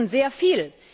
Nun, sehr viel.